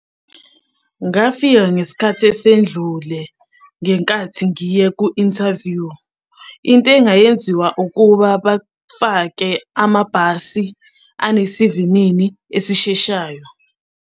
Ngafika ngesikhathi esendlule ngenkathi ngiye ku-interview. Into engayenziwa ukuba bafake amabhasi anesivinini esisheshayo.